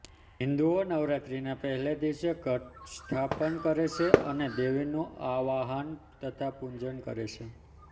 હિંદુઓ નવરાત્રને પહેલે દિવસે ઘટસ્થાપન કરે છે અને દેવીનું આવાહન તથા પૂજન કરે છે